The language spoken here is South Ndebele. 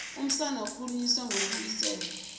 umsana ukhuliswa ngokuwiselwa